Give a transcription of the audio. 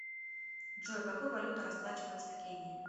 джой какой валютой расплачиваются в кении